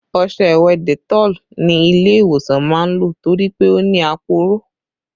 Ọṣẹ ìwẹ̀ Dettol ni ilé ìwòsàn máa ń lò torí pé ó ní aporó